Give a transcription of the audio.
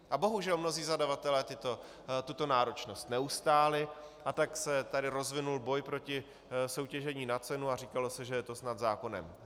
A bohužel mnozí zadavatelé tuto náročnost neustáli, a tak se tady rozvinul boj proti soutěžení na cenu a říkalo se, že je to snad zákonem.